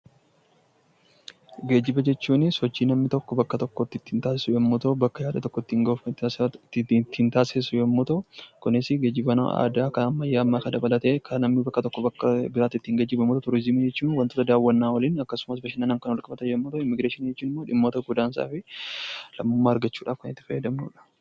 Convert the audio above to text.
Geejjiba jechuun sochii namni tokko bakka tokkoo bakka biraatti taasisu yoo ta'u, bakka yaade tokko gahuuf kan taasisu yoo ta'u kunis geejjiba aadaa fi ammayyaa dabalatee namni bakka tokkoo bakka biraatti ittiin geejjibamuuf oola. Turizimii jechuun wantoota daawwannaa waliin yookiin bashannana waliin wal qabatan yommuu ta'u, immiigireeshiniin immoo dhimmoota godaansaa fi lammummaa argachuuf itti fayyadamnudha.